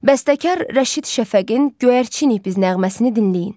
Bəstəkar Rəşid Şəfəqin Göyərçin ikimiz nəğməsini dinləyin.